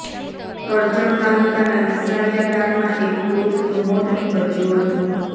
કરજણ તાલુકાના નિશાળીયા ગામમાં એક પૂરૂષનું મોત નિપજ્યુ હતુ